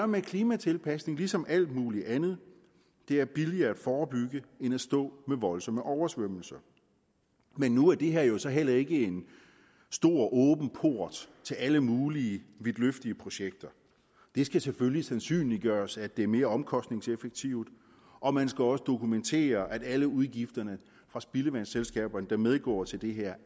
med klimatilpasning som med alt muligt andet det er billigere at forebygge end at stå med voldsomme oversvømmelser men nu er det her jo så heller ikke en stor åben port til alle mulige vidtløftige projekter det skal selvfølgelig sandsynliggøres at det er mere omkostningseffektivt og man skal også dokumentere at alle udgifterne for spildevandsselskaberne der medgår til det her